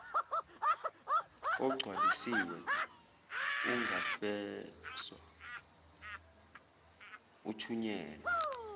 ogcwalisiwe ungafekswa uthunyelwe